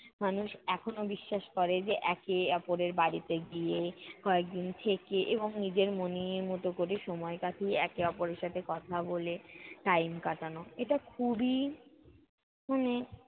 মানুষ এখনও বিশ্বাস করে যে, একে অপরের বাড়িতে গিয়ে কয়েকদিন থেকে এবং নিজের মনের মতো কোরে সময় কাটিয়ে একে অপরের সাথে কথা বলে time কাটানো। এটা খুবই, মানে